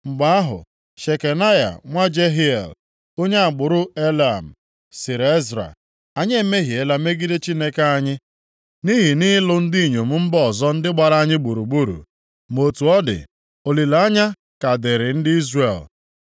Mgbe ahụ, Shekanaya nwa Jehiel, onye agbụrụ Elam, sịrị Ezra, “Anyị emehiela megide Chineke anyị, nʼihi nʼịlụ ndị inyom mba ọzọ ndị gbara anyị gburugburu. Ma otu ọ dị, olileanya ka dịrị ndị Izrel.